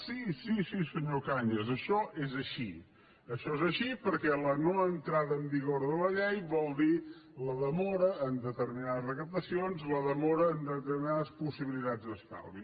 sí sí senyor cañas això és així això és així perquè la no entrada en vigor de la llei vol dir la demora en determinades recaptacions la demora en determinades possibilitats d’estalvi